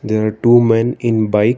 there are two men in bike.